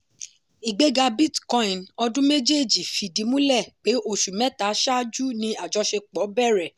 ìgbéga bitcoin ọdún méjéèjì fìdí múlẹ̀ pé oṣù mẹ́ta ṣáájú ni àjọṣepọ̀ bẹ̀rẹ̀.